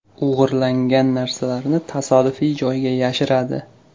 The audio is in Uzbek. O‘g‘irlangan narsalarni tasodifiy joyga yashiradi.